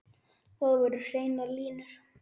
Þar voru hreinar línur.